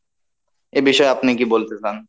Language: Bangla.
এ বিষয়ে আপনি কী বলতে চান?